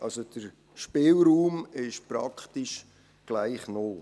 Der Spielraum ist praktisch gleich null.